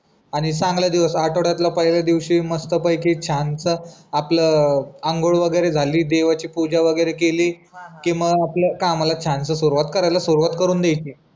आणि चांगला दिवस आठवड्यातला पहिला दिवशी मस्त पैकी छानसा आपला आंघोळ वगैरे झाली देवाची पूजा वगैरे केली कि मी आपल्या कामाला छानसा सुरुवात करायला सुरुवात करून द्यायची